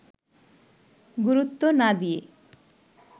গুরুত্ব না দিয়ে